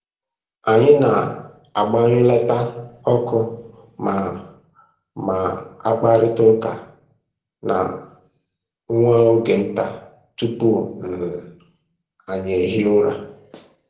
Anyị na-agbanyụlata ọkụ ma ma kparịta ụka na nwa oge nta tupu um anyị ehie ụra